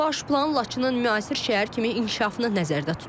Baş plan Laçının müasir şəhər kimi inkişafını nəzərdə tutur.